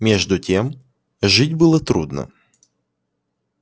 между тем жить было трудно